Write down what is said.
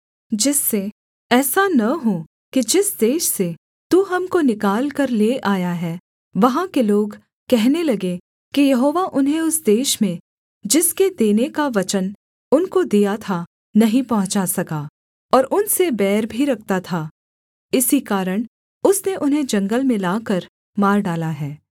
जिससे ऐसा न हो कि जिस देश से तू हमको निकालकर ले आया है वहाँ के लोग कहने लगें कि यहोवा उन्हें उस देश में जिसके देने का वचन उनको दिया था नहीं पहुँचा सका और उनसे बैर भी रखता था इसी कारण उसने उन्हें जंगल में लाकर मार डाला है